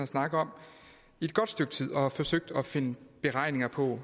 snakket om i et godt stykke tid og har forsøgt at finde beregninger på